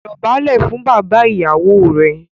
Dọ̀bálẹ̀ fún bàbá ìyàwó rẹ!